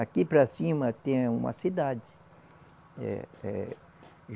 Aqui para cima tem uma cidade. Eh, eh